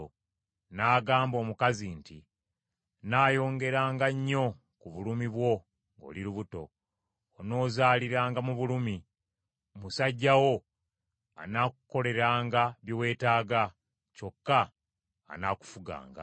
N’agamba omukazi nti, “Nnaayongeranga nnyo ku bulumi bwo ng’oli lubuto, onoozaaliranga mu bulumi; musajja wo anaakukoleranga bye weetaaga kyokka anaakufuganga.”